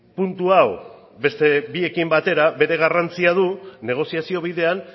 puntu hau beste biekin batera bere garrantzia du negoziazio bidean